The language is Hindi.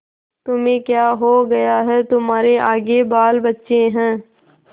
तुम्हें क्या हो गया है तुम्हारे आगे बालबच्चे हैं